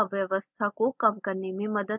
यह अव्यवस्था को कम करने में मदद करेगा